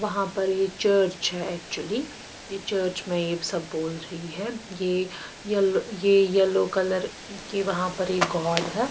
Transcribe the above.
वहाँ पर ये चर्च है एक्चुअली ये चर्च में ये सब बोल रही है ये येलो ये येलो कलर के वहाँ पर एक गॉड है।